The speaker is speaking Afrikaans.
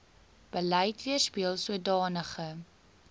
beleid weerspieel sodanige